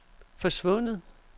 forsvundet